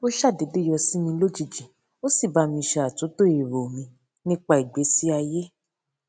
ó ṣàdédé yọ sí mi lójijì ó sì ba mi se atunto erò mi nípa ìgbésí ayé